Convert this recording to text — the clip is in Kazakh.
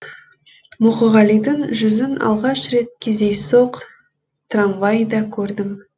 мұқағалидың жүзін алғаш рет кездейсоқ трамвайда көрдім